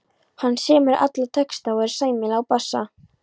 Hann semur alla texta og er sæmilegur á bassa.